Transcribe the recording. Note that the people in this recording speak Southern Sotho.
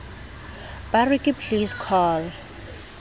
ba re ke please call